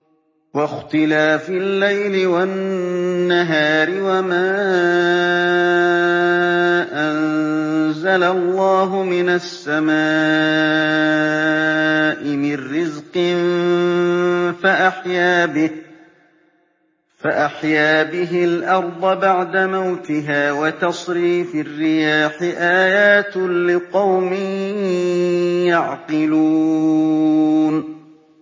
وَاخْتِلَافِ اللَّيْلِ وَالنَّهَارِ وَمَا أَنزَلَ اللَّهُ مِنَ السَّمَاءِ مِن رِّزْقٍ فَأَحْيَا بِهِ الْأَرْضَ بَعْدَ مَوْتِهَا وَتَصْرِيفِ الرِّيَاحِ آيَاتٌ لِّقَوْمٍ يَعْقِلُونَ